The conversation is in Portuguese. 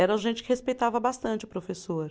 Eram gente que respeitava bastante o professor.